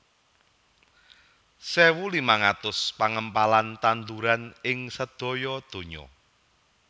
sewu limang atus pangempalan tanduran ing sedaya dunya